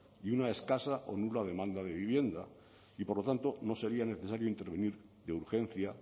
y una escasa o nula demanda de vivienda y por lo tanto no sería necesario intervenir de urgencia